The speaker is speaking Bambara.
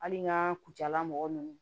Hali n ka kucala mɔgɔ nunnu